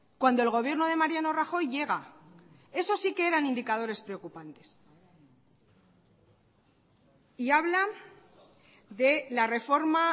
cuando el gobierno de mariano rajoy llega eso sí que eran indicadores preocupantes y hablan de la reforma